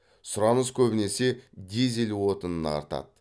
сұраныс көбінесе дизель отынына артады